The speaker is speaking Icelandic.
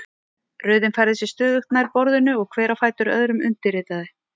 Röðin færði sig stöðugt nær borðinu og hver á fætur öðrum undirritaði.